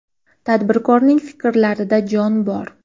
Tadbirkorning fikrlarida jon bor.